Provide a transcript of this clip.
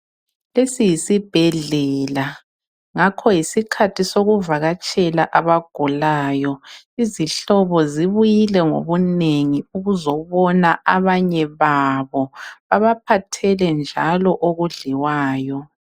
Lesi yisibhedlela ngakho yisikhathi sokuvakatshela abagulayo izihlobo zibuyile ngobunengi ukuzobona abanye babo babaphathele njalo okudliwayo .